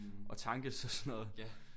Og tankes og sådan noget